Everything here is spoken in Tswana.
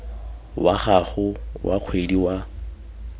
wa gago wa kgwedi wa